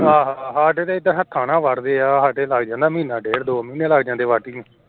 ਆਹ, ਸਾਡੇ ਤਾ ਏਧਰ ਹੱਥਾਂ ਨਾਲ ਵੱਢਦੇ ਏ ਸਾਡੇ ਤਾ ਮਹੀਨਾ ਡੇਢ ਦੋ ਮਹੀਨੇ ਲੱਗ ਜਾਂਦੇ ਐ